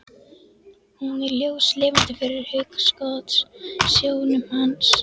Hún er ljóslifandi fyrir hugskotssjónum hans.